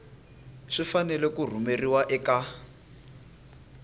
swi fanele ku rhumeriwa eka